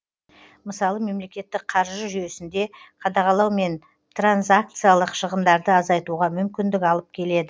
мысалы мемлекеттік қаржы жүйесінде қадағалау мен транзакциялық шығындарды азайтуға мүмкіндік алып келеді